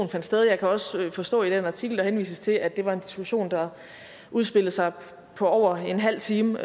fandt sted jeg kan også forstå i den artikel der henvises til at det var en diskussion der udspillede sig i over en halv time